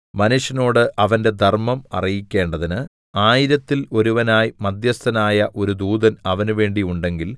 മനുഷ്യനോട് അവന്റെ ധർമ്മം അറിയിക്കേണ്ടതിന് ആയിരത്തിൽ ഒരുവനായി മദ്ധ്യസ്ഥനായ ഒരു ദൂതൻ അവനുവേണ്ടി ഉണ്ടെങ്കിൽ